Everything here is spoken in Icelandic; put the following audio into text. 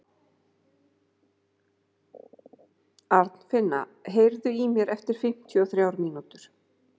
Arnfinna, heyrðu í mér eftir fimmtíu og þrjár mínútur.